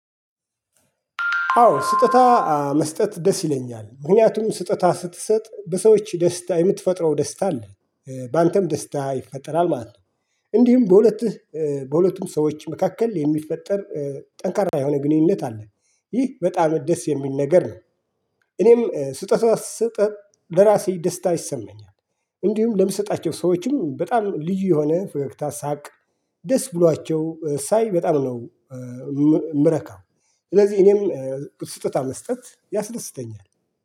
አዎ ስጦታ መስጠት ደስ ይለኛል ምክንያቱም ስጦታ ስትሰጥ በሰዎች ደስታ የምትፈጥረው ደስታ አለ በአንተም ደስታ ይፈጠራል ማለት ነው። እንዲህም በሁለቱም ሰዎች መካከል የሚፈጠር ጠንካራ የሆነ ግንኙነት አለ ይህ በጣም ደስ የሚል ነገር ነው። እኔም ስጦታ ስሰጥ ለራሴ ደስታ ይሰመኛል። እንዲሁም ለምሰጣቸው ሰዎችም በጣም ልዩ የሆነ ፈገግታ ሳቅ ደስ ብሏቸው ሳይ በጣም ነው እምረካው። ስለዚህ እኔም ስጦታ መስጠት ያስደስተኛል